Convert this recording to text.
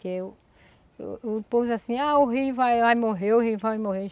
Porque o o o povo diz assim, ah, o rio vai morrer, o rio vai morrer.